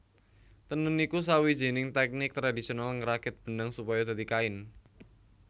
Tenun iku sawijining tèknik tradisional ngrakit benang supaya dadi kain